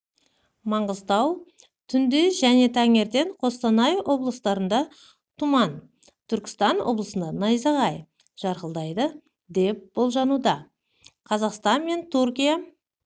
маңғыстау түнде және таңертең қостанай облыстарында тұман түркістан облысында найзағай жарқылдайды деп болжануда қазақстан мен түркия